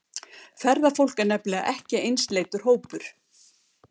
Ferðafólk er nefnilega ekki einsleitur hópur.